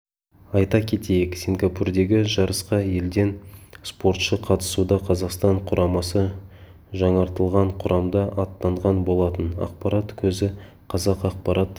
айта кетейік сингапурдегі жарысқа елден спортшы қатысуда қазақстан құрамасы жаңартылған құрамда аттанған болатын ақпарат көзі қазақ ақпарат